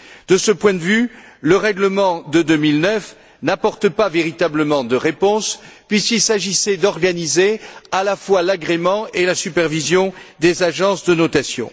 De ce point de vue, le règlement de 2009 n'apporte pas véritablement de réponse puisqu'il s'agissait d'organiser à la fois l'agrément et la supervision des agences de notation.